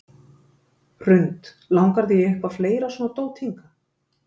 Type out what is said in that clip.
Hrund: Langar þig í eitthvað fleira svona dót hingað?